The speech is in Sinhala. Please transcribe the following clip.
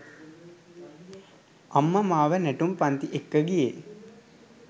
අම්මා මාව නැටුම් පන්ති එක්ක ගියේ